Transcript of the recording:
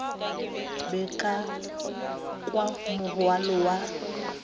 be ka kwa morwalo wa